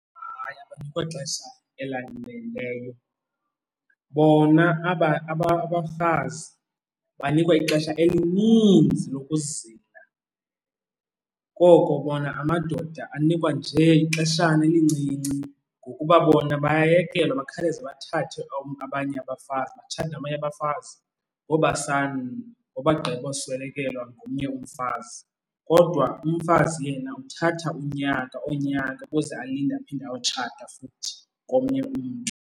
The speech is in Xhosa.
Hayi, akukho xesha elaneleyo. Bona aba abafazi banikwa ixesha elininzi lokuzila, koko bona amadoda anikwa njee ixeshana elincinci ngokuba bona bayayekelwa bakhaleze bathathe abanye abafazi, batshate nabanye abafazi ngoku bagqiboswelekelwa ngomnye umfazi. Kodwa umfazi yena uthatha unyaka, oonyaka ukuze alinde aphinde ayotshata futhi komnye umntu.